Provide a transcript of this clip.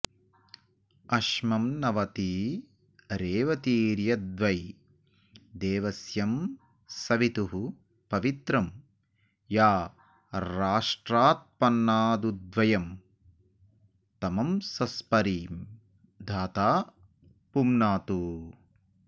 अश्म॑न्वती रेवती॒र्यद्वै दे॒वस्य॑ सवि॒तुः प॒वित्रं॒ या रा॒ष्ट्रात्प॒न्नादुद्व॒यं तम॑स॒स्परि॑ धा॒ता पु॑नातु